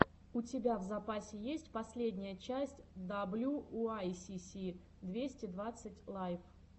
у тебя в запасе есть последняя часть даблюуайсиси двести двадцать лайв